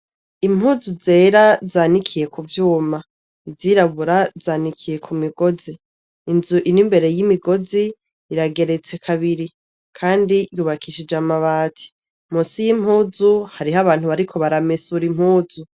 Impuzu zera zanikiye ku vyuma izirabura zanikiye ku migozi inzu iri mbere y'imigozi irageretse kabiri kandi yubakishije amabati munsi y'impuzu hariho abantu bariko baramesura impuzu.